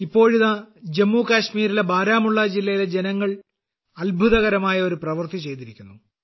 ഇപ്പോഴിതാ ജമ്മുകാശ്മീരിലെ ബാരാമുള്ള ജില്ലയിലെ ജനങ്ങൾ ഒരു അത്ഭുതകരമായ ഒരു പ്രവൃത്തി ചെയ്തിരിക്കുന്നു